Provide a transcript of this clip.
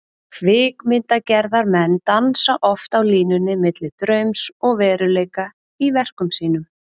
Kvikmyndagerðarmenn dansa oft á línunni milli draums og veruleika í verkum sínum.